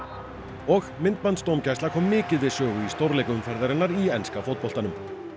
og kom mikið við sögu í stórleik umferðarinnar í enska fótboltanum